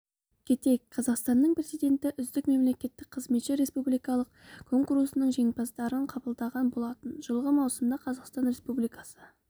кетейік қазақстанның президенті үздік мемлекеттік қызметші республикалық конкурсының жеңімпаздарын қабылдаған болатын жылғы маусымда қазақстан республикасы